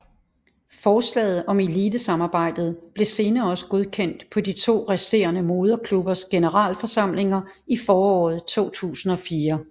Forslaget om elitesamarbejdet blev senere også godkendt på de to resterende moderklubbers generalforsamlinger i foråret 2004